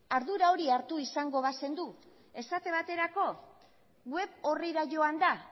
ardura hori hartu izango bazenu esate baterako web orrira joanda